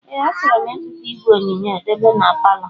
Ee achoro m ịzụta ìgwè onyonyoo debe n'paló.